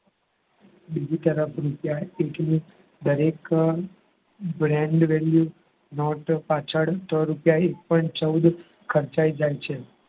બીજી તરફ રૂપિયા એટલે દરેક brand value note પાછળ રૂપિયા એક point ચૌદ ખર્ચાઈ જાય છે.